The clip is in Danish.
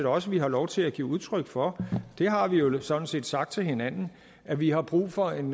også vi har lov til at give udtryk for vi har jo sådan set sagt til hinanden at vi har brug for en